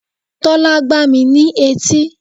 Tólá gbá mi ní etí